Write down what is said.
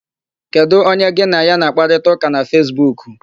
Kedụ onye gị na ya na-àkpárịtaụka na Fesbuku?